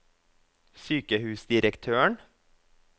sykehusdirektøren